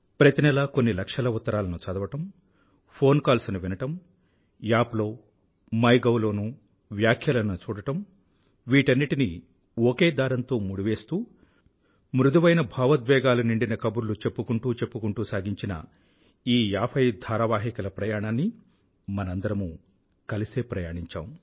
ప్రతి నెలా కొన్ని లక్షల ఉత్తరాలను చదవడం ఫోన్ కాల్స్ ను వినడం యాప్ లో మై గౌ లోనూ వ్యాఖ్యలను చూడడం వీటన్నింటినీ ఒకే దారంతో ముడివేస్తూ మృదువైన భావోద్వేగాలు నిండిన కబుర్లు చెప్పుకుంటూ చెప్పుకుంటూ సాగించిన ఈ ఏభై ధారావాహికల ప్రయాణాన్ని మనందరమూ కలిసే ప్రయాణించాము